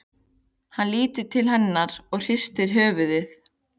Lítur til hennar og hristir höfuðið.